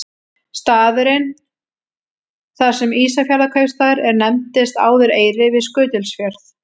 Staðurinn þar sem Ísafjarðarkaupstaður er nefndist áður Eyri við Skutulsfjörð.